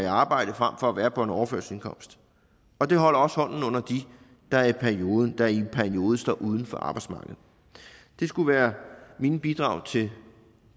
arbejde fremfor at være på overførselsindkomst og det holder også hånden under dem der i en periode står uden for arbejdsmarkedet det skulle være mine bidrag til